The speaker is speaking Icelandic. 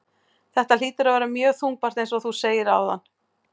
Þetta hlýtur að vera mjög þungbært eins og þú segir áðan?